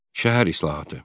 Şəhər islahatı.